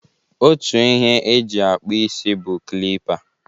Otu ihe e ji akpụ isi bụ klipa.